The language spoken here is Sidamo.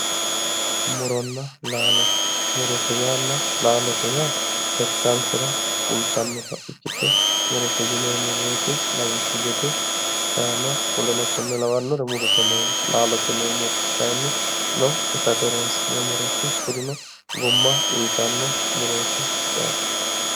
Muronna laalo murote yaanna laalote yaa gattankera fultannota ikkite murote yineemmo woyte lawishshu gede shaana woleno konne lawannore murote yineemmo laalote yineemmori kayinni itate horoonsi'neemmore kurino gumma uyitanno murooti yaate